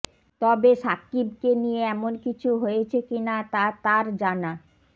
তবে সাকিবকে নিয়ে এমন কিছু হয়েছে কিনা তা তার জানা